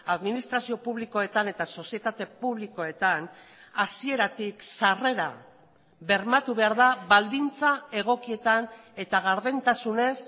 administrazio publikoetan eta sozietate publikoetan hasieratik sarrera bermatu behar da baldintza egokietan eta gardentasunez